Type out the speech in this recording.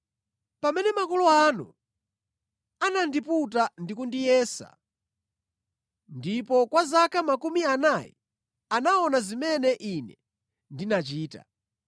Pamene makolo anu anandiputa ndi kundiyesa, ndipo kwa zaka makumi anayi anaona zimene Ine ndinachita.